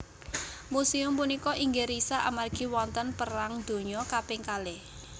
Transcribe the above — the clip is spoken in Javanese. Musèum punika inggih risak amargi wonten perang dunya kaping kalih